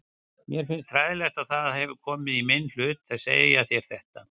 Mér finnst hræðilegt að það hefur komið í minn hlut að segja þér þetta.